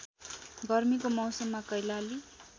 गर्मीको मौसममा कैलाली